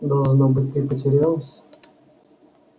должно быть ты потерялась